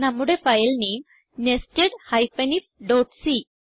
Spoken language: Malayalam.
നമ്മുടെ ഫയൽ നെയിം nested ifസി